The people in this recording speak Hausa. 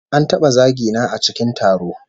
An taba zagi na a cikin taro